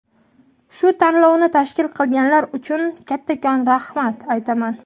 Shu tanlovni tashkil qilganilar uchun kattakon rahmat aytaman.